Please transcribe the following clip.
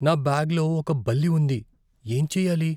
నా బ్యాగ్లో ఒక బల్లి ఉంది. ఏం చెయ్యాలి?